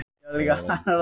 Brim